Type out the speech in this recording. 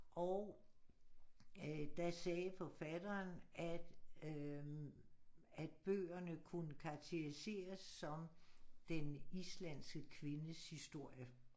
Og øh da sagde forfatteren at øh at bøgerne kunne karakteriseres som den islandske kvindes historie